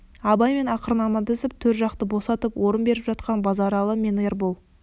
абаймен ақырын амандасып төр жақты босатып орын беріп жатқан базаралы мен ербол